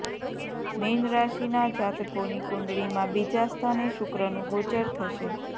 min રાશિના જાતકોની કુંડળીમાં બીજા સ્થાને શુક્રનું ગોચર થશે